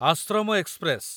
Ashram express